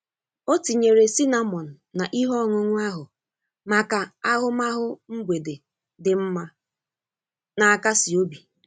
Ọ tinyere cinnamon na ihe ọṅụṅụ ahụ maka ahụmahụ mgbede di mma, na-akasi obi.